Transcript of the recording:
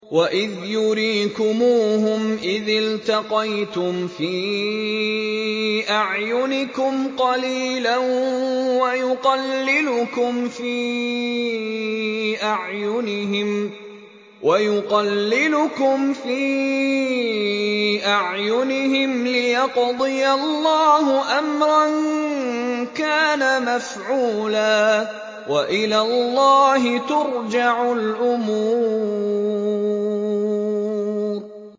وَإِذْ يُرِيكُمُوهُمْ إِذِ الْتَقَيْتُمْ فِي أَعْيُنِكُمْ قَلِيلًا وَيُقَلِّلُكُمْ فِي أَعْيُنِهِمْ لِيَقْضِيَ اللَّهُ أَمْرًا كَانَ مَفْعُولًا ۗ وَإِلَى اللَّهِ تُرْجَعُ الْأُمُورُ